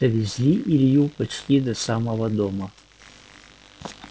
довезли илью почти до самого дома